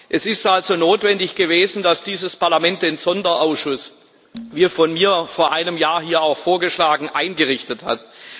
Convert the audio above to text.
Es ist also notwendig gewesen, dass dieses Parlament den Sonderausschuss wie von mir vor einem Jahr hier auch vorgeschlagen eingerichtet hat.